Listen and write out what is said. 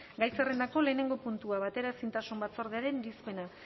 gai zerrendako lehenengo puntua bateraezintasun batzordearen irizpena